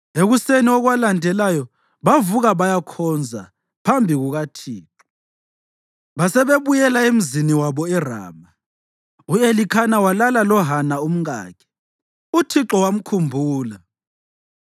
Ekuseni okwalandelayo bavuka bayakhonza phambi kukaThixo basebebuyela emzini wabo eRama. U-Elikhana walala loHana umkakhe, uThixo wamkhumbula.